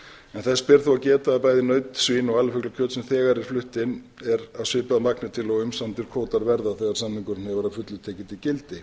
þó að geta að naut svín og alifuglakjöt sem þegar er flutt inn er svipað af magni til og umsamdir kvótar verða þegar samningur hefur að fullu tekið gildi